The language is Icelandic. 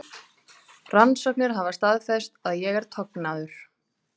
Rannsóknir hafa staðfest að ég er tognaður.